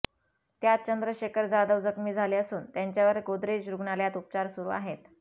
यात चंद्रशेखर जाधव जखमी झाले असून त्यांच्यावर गोदरेज रुग्णालयात उपचार सुरु आहेत